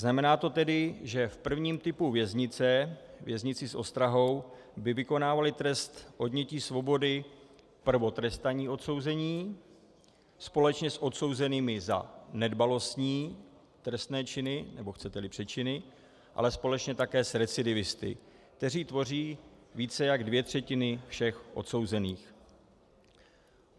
Znamená to tedy, že v prvním typu věznice, věznici s ostrahou, by vykonávali trest odnětí svobody prvotrestaní odsouzení společně s odsouzenými za nedbalostní trestné činy nebo, chcete-li, přečiny, ale společně také s recidivisty, kteří tvoří více než dvě třetiny všech odsouzených.